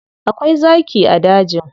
Akwai zaki a dajin.